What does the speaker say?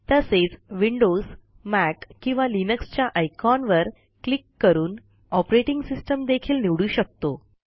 तसेच Windows Mac किंवा Linux च्या आयकॉनवर क्लिक करून ऑपरेटिंग सिस्टम देखील निवडू शकतो